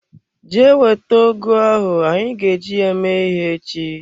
Jee wete ọgụ ahụ anyị ga e ji ya mee ihe ech!